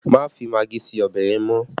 Má fi magí sí ọbẹ̀ yẹn mọ́!